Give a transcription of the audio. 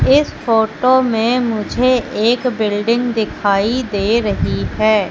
इस फोटो मे मुझे एक बिल्डिंग दिखाई दे रही है।